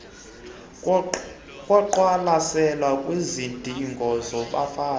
koqwalaselo kwizidingo zabafazi